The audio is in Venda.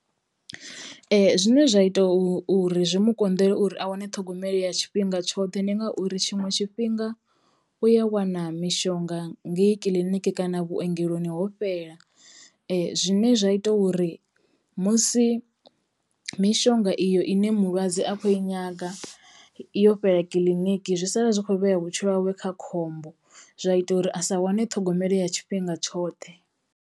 Zwine zwa ita u uri zwi mu konḓela uri a wane ṱhogomelo ya tshifhinga tshoṱhe ndi ngauri tshiṅwe tshifhinga u ya wana mishonga ngei kiḽiniki kana vhuongeloni ho fhela zwine zwa ita uri musi mishonga iyo ine mulwadze akho i nyaga yo fhela kiḽiniki zwi sala zwi kho vhea vhutshilo hawe kha khombo zwa ita uri a sa wane ṱhogomelo ya tshifhinga tshoṱhe.